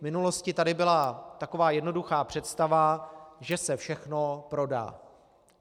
V minulosti tady byla taková jednoduchá představa, že se všechno prodá.